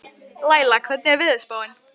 Laila, hvernig er veðurspáin?